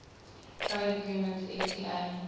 trade agreement fta